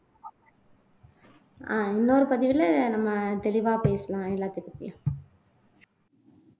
ஆஹ் இன்னொரு பதிவுல நம்ம தெளிவா பேசலாம் எல்லாத்த பத்தியும்